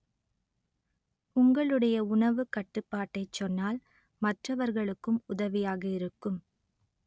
உங்களுடைய உணவுக் கட்டுப்பாட்டைச் சொன்னால் மற்றவர்களுக்கும் உதவியாக இருக்கும்